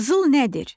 Qızıl nədir?